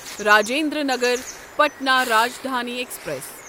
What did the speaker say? Rajendra Nagar Patna Rajdhani express